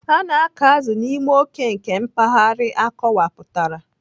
A na-akọ azụ n'ime oke nke mpaghara akọwapụtara.